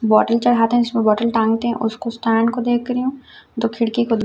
bottle चढ़ाते हैं जिसमें बॉटल टांगते हैं उसको स्टैंड को देख रही हूं जो खिड़की को--